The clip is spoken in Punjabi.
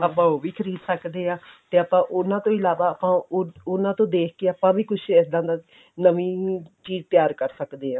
ਆਪਾਂ ਉਹ ਵੀ ਖਰੀਦ ਸਕਦੇ ਆਂ ਤੇ ਆਪਾਂ ਉਹਨਾ ਤੋਂ ਇਲਾਵਾ ਆਪਾਂ ਉਹਨਾ ਤੋਂ ਦੇਖ ਕੇ ਆਪਾਂ ਵੀ ਕੁੱਝ ਇੱਦਾਂ ਦਾ ਨਵੀਂ ਚੀਜ਼ ਤਿਆਰ ਕਰ ਸਕਦੇ ਆਂ